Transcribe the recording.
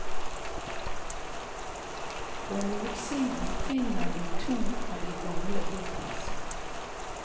På nordsiden finner du to av de gamle boplassene.